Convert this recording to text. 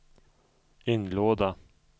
inlåda